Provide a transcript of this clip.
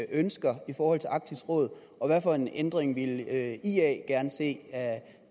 ønsker i forhold til arktisk råd og hvad for en ændring ville ia ia gerne se at